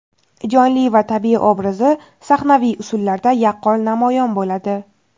jonli va tabiiy obrazi sahnaviy usullarda yaqqol namoyon bo‘ladi.